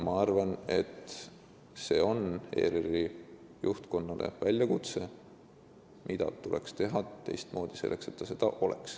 Ma arvan, et see on väljakutse ERR-i juhtkonnale: mida tuleks teha teistmoodi?